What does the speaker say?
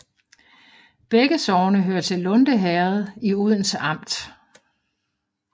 Begge sogne hørte til Lunde Herred i Odense Amt